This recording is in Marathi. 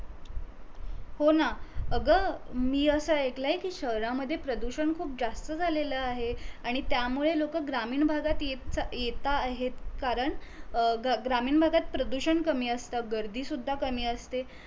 हो ना अग मी अस एयकलय कीं शहरामध्ये प्रदूषण खूप जास्त झालेलं आहे आणि त्यामुळे लोक ग्रामीण भागात येत आहेत कारण अ ग्रामीण भागात प्रदूषण कमी असत गर्दी कमी असते